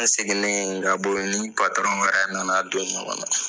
Ne seginnen ka bɔ ye n ni wɛrɛ na na don ɲɔgɔn na.